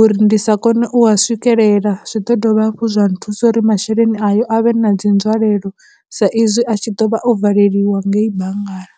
uri ndi sa kone u a swikelela, zwi ḓo dovha hafhu zwa nthusa uri masheleni ayo a vhe na dzi nzwalelo sa izwi a tshi ḓovha o valeliwa ngei banngani.